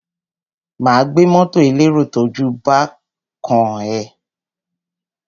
Má gbé mọ́tọ̀ elérò tójú bán kán ẹ.